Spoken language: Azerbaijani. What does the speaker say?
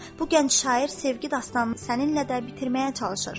Bu gənc şair sevgi dastanını səninlə də bitirməyə çalışır.